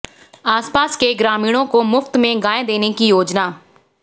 आसपास के ग्रामीणों को मुफ्त में गाय देने की योजना